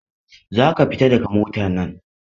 Za ka fita daga motar nan!